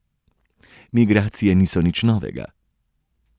Migracije niso nič novega.